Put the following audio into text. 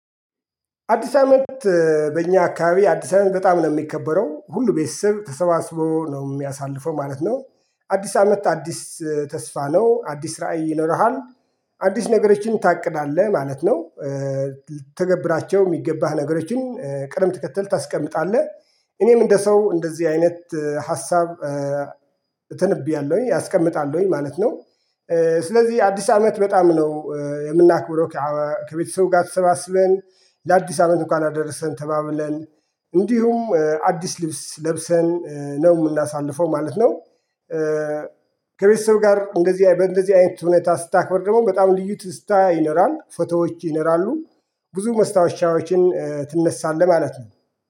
አዲስ አመት በእኛ አካባቢ አዲስ አመት በጣም ነው የሚከበረው ሁሉ ቤተሰብ ተሰባስቦ ነው የሚያሳልፈው ማለት ነው። አዲስ አመት አዲስ ተስፋ ነው አዲስ ራዕይ ይኖርሃል። አዲስ ነገሮችን ታቅዳለህ ማለት ነው። ልተገብራቸው የሚገባህ ነገሮችን ቅደም ተከተል ታስቀምጣለህ። እኔም እንደ ሰው እንደዚህ አይነት ሀሳብ። እተነቢያለሁኝ አስቀምጣለሁኝ ማለት ነው። ስለዚህ አዲስ አመት በጣም ነው የምናክብረው። ከቤተሰቡ ጋር ተሰባስበን ለአዲስ አመት እንኳን አደረሰን ተባብለን እንዲሁም አዲስ ልብስ ለብሰን ነው የምናሳልፈው ማለት ነው። ከቤተሰብ ጋር እንደዚህ እንደዚህ አይነት ሁኔታ ስታክብር ደግሞ በጣም ልዩ ትስታ ይኖራል ፎቶዎች ይነራሉ። ብዙ መስታወሻዎችን ትነሳለህ ማለት ነው